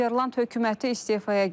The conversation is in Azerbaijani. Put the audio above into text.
Niderland hökuməti istefaya gedir.